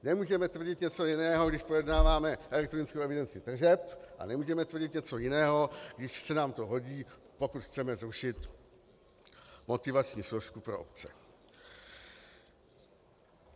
Nemůžeme tvrdit něco jiného, když projednáváme elektronickou evidenci tržeb, a nemůžeme tvrdit něco jiného, když se nám to hodí, pokud chceme zrušit motivační složku pro obce.